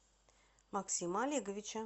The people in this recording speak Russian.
максима олеговича